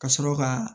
Ka sɔrɔ ka